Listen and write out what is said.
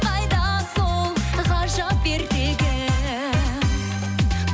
қайда сол ғажап ертегім